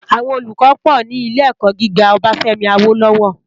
Awòn ólúkò pò ni ilé èkò gigá Obafemi Awolowo